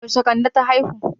Yaushe kande ta haihu?